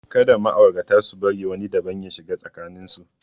Kada ma'aurata su bari wani daban ya shiga tsakanin su.